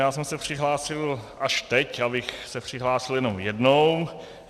Já jsem se přihlásil až teď, abych se přihlásil jenom jednou.